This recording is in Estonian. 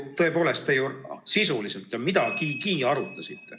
Te ju midagigi sisuliselt arutasite.